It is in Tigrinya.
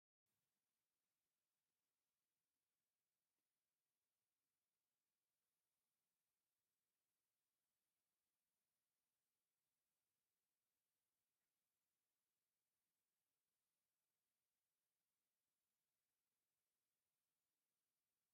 እዚ ብጣዐሚ ዝሕዝን ዘፈረሰ ገዛውት አንትከውን ብናይ አግዛብህር ትእዛዝ ይከውን ዝተፈላለዩ ሰባት እንትኮኑ ብጣዓሚ ብዛሓት አእማነን ቆርቆረታት ኦማት የረአዩ አለው።